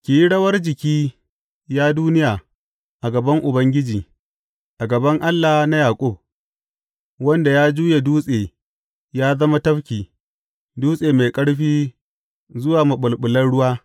Ki yi rawar jiki, ya duniya, a gaban Ubangiji, a gaban Allah na Yaƙub, wanda ya juye dutse ya zama tafki, dutse mai ƙarfi zuwa maɓulɓulan ruwa.